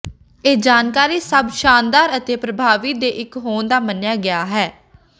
ਇਹ ਜਾਣਕਾਰੀ ਸਭ ਸ਼ਾਨਦਾਰ ਅਤੇ ਪਰਭਾਵੀ ਦੇ ਇਕ ਹੋਣ ਦਾ ਮੰਨਿਆ ਗਿਆ ਹੈ